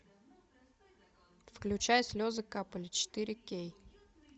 включай слезы капали четыре кей